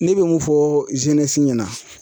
Ne be mun fɔ ɲɛna